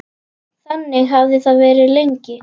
Þannig hafði það verið lengi.